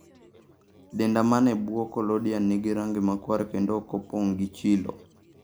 Denda man e bwo collodian nigi rangi makwar kendo ok opong gi chilo.